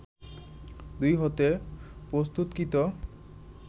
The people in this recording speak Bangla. দুধ হতে প্রস্তুতকৃত